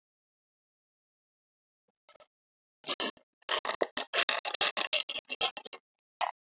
Við Snati slógum upp hreysi.